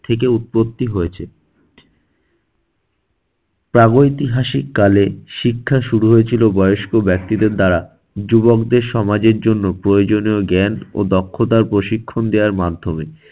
থেকে উৎপত্তি হয়েছে। প্রাগঐতিহাসিক কালে শিক্ষা শুরু হয়েছিল বয়স্ক ব্যক্তিদের দ্বারা যুবকদের সমাজের জন্য প্রয়োজনীয় জ্ঞান ও দক্ষতার প্রশিক্ষণ দেওয়ার মাধ্যমে।